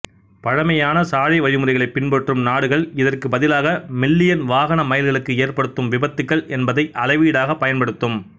பழமையான சாலை வழிமுறைகளை பின்பற்றும் நாடுகள் இதற்கு பதிலாக மில்லியன் வாகன மைல்களுக்கு ஏற்படும் விபத்துக்கள் என்பதை அளவீடாக பயன்படுத்தும்